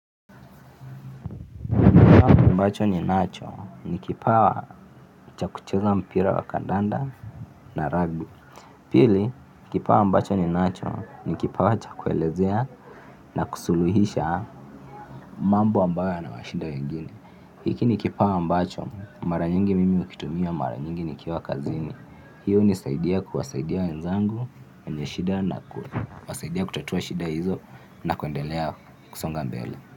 Ambacho ninacho ni kipawa cha kucheza mpira wa kandanda na rugby. Pili, kipawa ambacho ninacho ni kipawa cha kuelezea na kusuluhisha mambo ambayo yanawashida wengine. Hiki ni kipawa ambacho, mara nyingi mimi hukitumia, mara nyingi nikiwa kazini. Hiu hunisaidia kuwasaidia wenzangu, wenye shida na kuwasaidia kutatua shida hizo na kuendelea kusonga mbele.